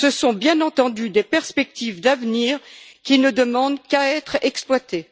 Ce sont, bien entendu, des perspectives d'avenir, qui ne demandent qu'à être exploitées.